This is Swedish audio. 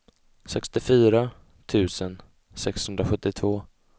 sextiofyra tusen sexhundrasjuttiotvå